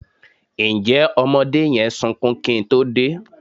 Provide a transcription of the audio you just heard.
Ǹjẹ́ ọmọdé yẹn sunkún kí n tó dé?